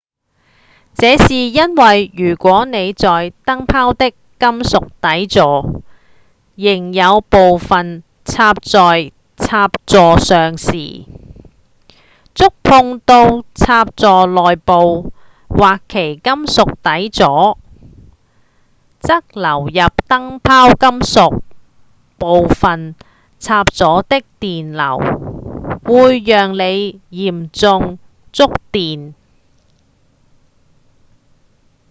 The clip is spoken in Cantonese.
這是因為如果您在燈泡的金屬底座仍有部份插在插座上時觸碰到插座內部或其金屬底座則流入燈泡金屬部份插座的電流會讓您嚴重觸電